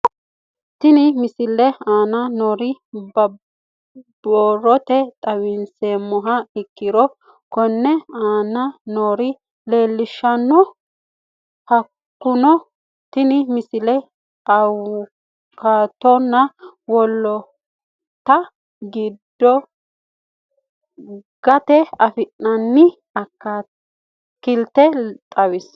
Tenne misile aana noore borrotenni xawisummoha ikirro kunni aane noore leelishano. Hakunno tinni misile awukaatonna wolootta gati afinanni akaakilte xawissano.